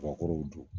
Kabakurunw don